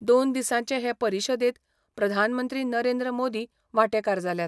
दोन दिसांचे हे परिशदेंत प्रधानमंत्री नरेंद्र मोदी वांटेकार जाल्यात.